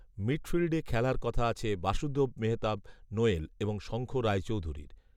মিডফিল্ডে খেলার কথা আছে বাসুদেব মেহতাব নোয়েল এবং শঙ্খ রায়চৌধুরীর